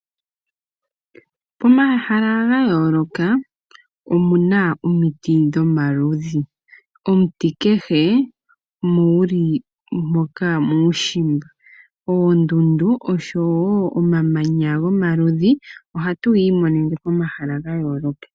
Pomahala ga yooloka omuna omiti dhomaludhi. Omuti kehe muuli moka muushimba, oondundu oshowo omamanya gomaludhi, ohatu yi imonene pomahala ga yooloka.